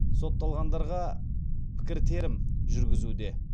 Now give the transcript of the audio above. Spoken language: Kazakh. сотталғандарға пікіртерім жүргізуде